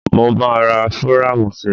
Mo máa ra fírámù sí.